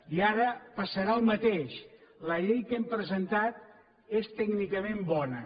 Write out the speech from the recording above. i ara passarà el mateix la llei que hem presentat és tècnicament bona